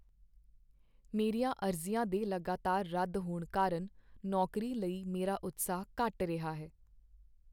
ਮੇਰੀਆਂ ਅਰਜ਼ੀਆਂ ਦੇ ਲਗਾਤਾਰ ਰੱਦ ਹੋਣ ਕਾਰਨ ਨੌਕਰੀ ਲਈ ਮੇਰਾ ਉਤਸ਼ਾਹ ਘੱਟ ਰਿਹਾ ਹੈ।